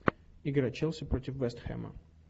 игра челси против вест хэма